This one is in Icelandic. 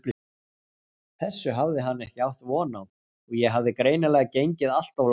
Þessu hafði hann ekki átt von á og ég hafði greinilega gengið allt of langt.